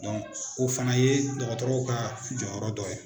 Dɔnku o fana ye dɔgɔtɔrɔw ka jɔyɔrɔ dɔ ye.